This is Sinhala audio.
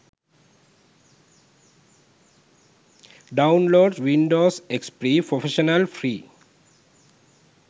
downloads windows xp professional free